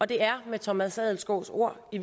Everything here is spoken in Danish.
det er med thomas adelskovs ord i